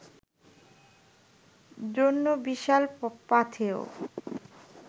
জন্য বিশাল পাথেয়